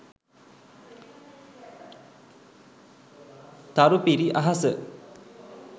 tharu piri ahasa